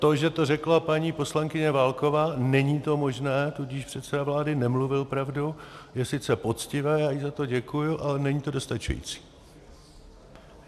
To, že to řekla paní poslankyně Válková, není to možné, tudíž předseda vlády nemluvil pravdu, je sice poctivé, já jí za to děkuji, ale není to dostačující.